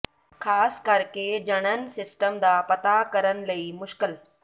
ਖ਼ਾਸ ਕਰਕੇ ਜਣਨ ਸਿਸਟਮ ਦਾ ਪਤਾ ਕਰਨ ਲਈ ਮੁਸ਼ਕਲ